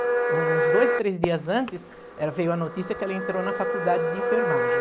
Uns dois, três dias antes, ela veio a notícia que ela entrou na faculdade de enfermagem.